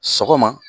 Sɔgɔma